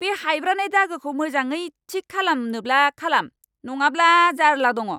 बे हायब्रानाय दागोखौ मोजाङै थिक खालामनोब्ला खालाम, नङाब्ला जार्ला दङ!